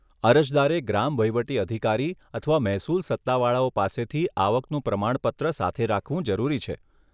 અરજદારે ગ્રામ વહીવટી અધિકારી અથવા મહેસૂલ સત્તાવાળાઓ પાસેથી આવકનું પ્રમાણપત્ર સાથે રાખવું જરૂરી છે.